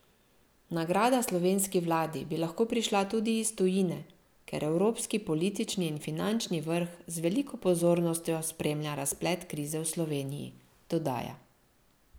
Nagrada slovenski vladi bi lahko prišla tudi iz tujine, ker evropski politični in finančni vrh z veliko pozornostjo spremlja razplet krize v Sloveniji, dodaja.